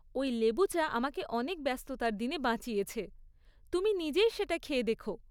ওই লেবু চা আমাকে অনেক ব্যস্ততার দিনে বাঁচিয়েছে, তুমি নিজেই সেটা খেয়ে দেখো।